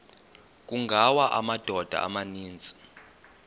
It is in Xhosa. kungawa amadoda amaninzi